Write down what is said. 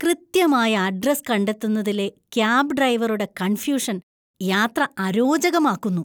കൃത്യമായ അഡ്രസ്സ് കണ്ടെത്തുന്നതിലെ ക്യാബ് ഡ്രൈവറുടെ കണ്‍ഫ്യൂഷന്‍ യാത്ര അരോചകമാക്കുന്നു.